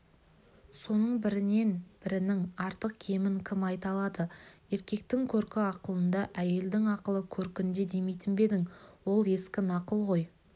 соның бірінен бірінің артық-кемін кім айта алады еркектің көркі ақылында әйелдің ақылы көркінде демейтін бе едің ол ескі нақыл ғой